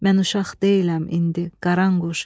Mən uşaq deyiləm indi, Qaranquş.